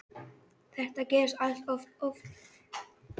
Þetta gerist allt of oft.